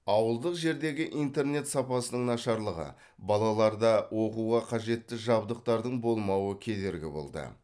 ауылдық жердегі интернет сапасының нашарлығы балаларда оқуға қажетті жабдықтардың болмауы кедергі болды